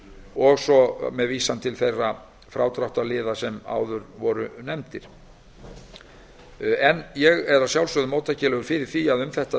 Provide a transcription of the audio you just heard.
og svo með vísan til þeirra frádráttarliða sem áður voru nefndir ég er að sjálfsögðu móttækilegur fyrir því að um þetta